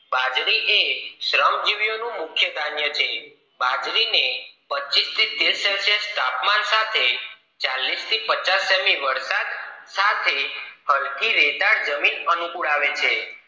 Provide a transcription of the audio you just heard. બાજરી એ શ્રમજીવિયો નું મુખ્ય ધન્ય છે બાજરી ને પચીસ થી તીરસ સેલ્સિયસ તાપમાન સાથે ચાલીસ થી પાંચસ સેમી વરસાદ સાથે સરખી રેતાળ જમણી અનુકૂળ આવે છે